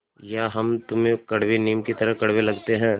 या हम तुम्हें कड़वे नीम की तरह कड़वे लगते हैं